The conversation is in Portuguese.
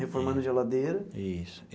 Reformando geladeira? Isso.